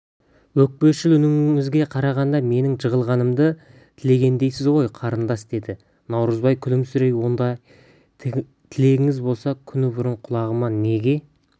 өкпешіл үніңізге қарағанда менің жығылғанымды тілегендейсіз ғой қарындас деді наурызбай күлімсірей ондай тілегіңіз болса күні бұрын құлағыма неге